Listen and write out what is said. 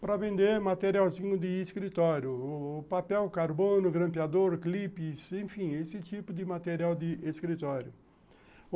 para vender materialzinho de escritório, papel, carbono, grampeador, clipes, enfim, esse tipo de material de escritório.